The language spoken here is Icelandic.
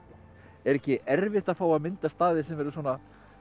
er ekki erfitt að fá að mynda staði sem eru svona